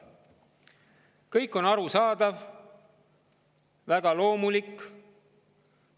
Kõik on arusaadav ja väga loomulik.